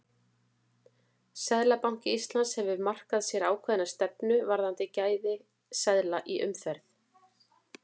Seðlabanki Íslands hefur markað sér ákveðna stefnu varðandi gæði seðla í umferð.